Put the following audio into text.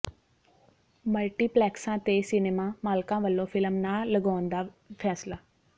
ਮਲਟੀਪਲੈਕਸਾਂ ਤੇ ਸਿਨੇਮਾ ਮਾਲਕਾਂ ਵੱਲੋਂ ਫ਼ਿਲਮ ਨਾ ਲਗਾਉਣ ਦਾ ਫ਼ੈਸਲਾ